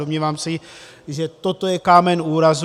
Domnívám se, že toto je kámen úrazu.